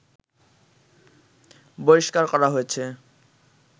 বহিস্কার করা হয়েছে